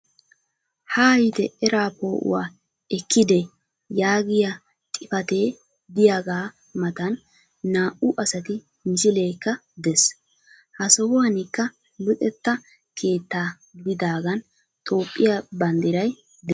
Haayite eraa poo'uwa ekkide yaagiyaa xipatee diyagaa matan naa"u asati misileekka des. Ha sohuwanikka Luxetta keettaa gididaagan tophphiya banddiray des.